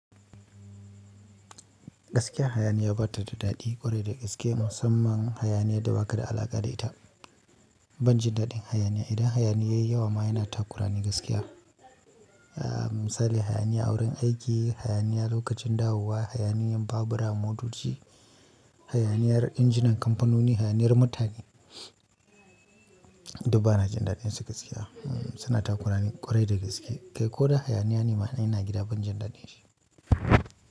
Gaskiya hayaniya ba ta da daɗi ƙwarai da gaske musamman hayaniyan da ba ka da alaƙa da ita. Ban jin daɗin hayaniya idan hayaniya yayi yawa ma yana takurani gaskiya. Misali hayaniya a wurin aiki, hayaniya lokacin dawowa, hayaniyan babura, motoci, hayaniyar injinan kamfanoni, hayaniyar mutane. Duk bana jin daɗin su gaskiya suna takuramin ƙwarai da gaske. Kai ko da hayaniya ne ma in ina gida ban jin daɗin shi.